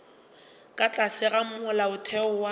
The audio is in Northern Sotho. ka tlase ga molaotheo wa